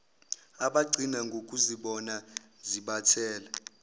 abagcina ngokuzibona zibathela